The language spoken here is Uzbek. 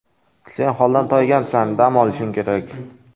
Sen holdan toygansan, dam olishing kerak.